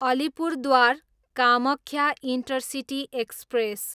Alipurduar, Kamakhya intercity express